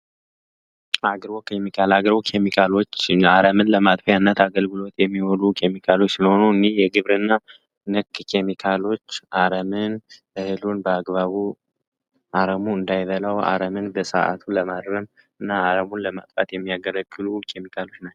አግርቦ ኬሚካል አግረው ሚአረምን ለማጥፊያ እነት አገልግሎት የሚወሉ ኬሚካሎች ስለሆኑ እዲ የግብር እና ንክ ኬሚካሎች አረምን እህሉን በአግባቡ አረሙ እንዳይበላው አረምን በሰዓቱ ለማድርም እና አረሙን ለማጥጣት የሚያገለክሉ ኬሚካሎች ናቸው፡፡